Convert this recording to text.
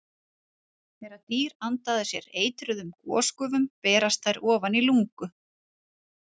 Þegar dýr anda að sér eitruðum gosgufum berast þær ofan í lungu.